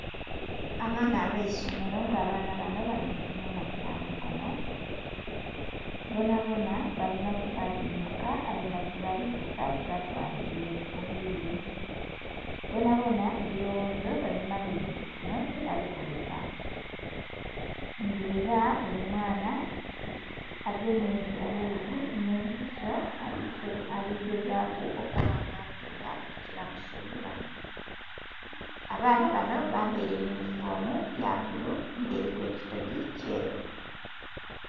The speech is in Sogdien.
Abaana abeisomero nga abaana banho bali mu kibinha kya mikono, bonabona balinha kyebali luka aye nga kyebali luka kibatwalile obwire, bonabona ebiloghozo babimalile ku kinho kye bali kuluka nga era buli mwaana agemye eghuzi nhe empiso aligegazu okuba nga atunga ekyo kyeba musubilamu, abaana banho bambaire eyunifoomu ya bbulu nga eriku ekitogi kyeru.